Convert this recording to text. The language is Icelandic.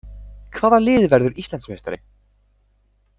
Hvaða lið verður Íslandsmeistari?